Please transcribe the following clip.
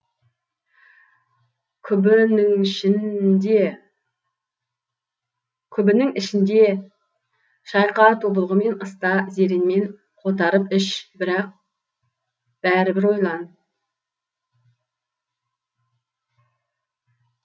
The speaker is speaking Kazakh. күбін іңішінде шайқа тобылғымен ыста зеренмен қотарып іш бірақ бәрібір ойлан